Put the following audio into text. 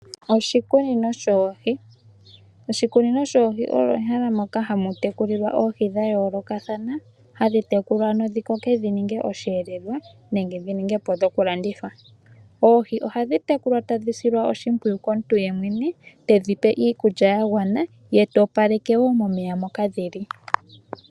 Oshikunino shoohi, oshikunino shoohi olyo ehala moka hamu tekulilwa Oohi dha yoolokathana, hadhi tekulwa ano dhi ninge osheelelwa nenge dhi ningepo dhoku landithwa. Oohi ohadhi tekulwa tadhi silwa oshimpwiyu komuntu yemwene, tedhi pe iikulya ya gwana ye ta opaleke wo momeya moka dhili.